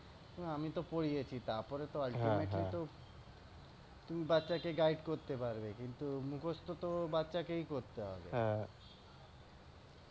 আমিতো পরিয়েছি তারপরে তো তুমি কিন্তু তুমি বাচ্ছা কে guide করতে পারবে কিন্তু মুখস্ত তো বাচ্ছাকেই করতে হবে